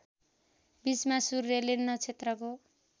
बीचमा सूर्यले नक्षत्रको